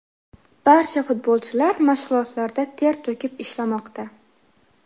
Barcha futbolchilar mashg‘ulotlarda ter to‘kib ishlamoqda.